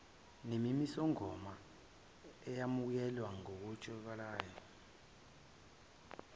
nemimisomigomo eyamukeleka ngokwejwayelekile